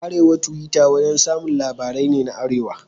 Arewa Tuwita wurin samun labarai ne na arewa.